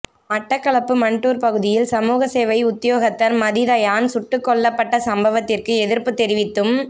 மட்டக்களப்பு மண்டூர் பகுதியில் சமூக சேவை உத்தியோகத்தர் மதிதயான் சுட்டுக்கொல்லப்பட்ட சம்பவத்திற்கு எதிர்ப்புத் தெரிவித்தும்